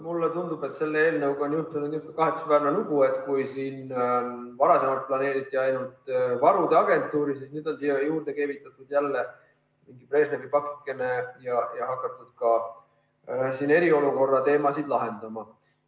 Mulle tundub, et selle eelnõuga on juhtunud kahetsusväärne lugu, et kui siin varem planeeriti ainult varude agentuuri, siis nüüd on siia juurde keevitatud jälle mingi Brežnevi pakike ja hakatud ka eriolukorra teemasid lahendama.